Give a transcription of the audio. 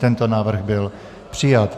Tento návrh byl přijat.